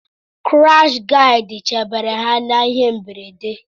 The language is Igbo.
Kirashi gadị chebere ha n’ihe mberede